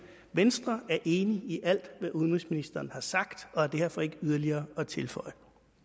venstre er enig i alt hvad udenrigsministeren har sagt og har derfor ikke yderligere at tilføje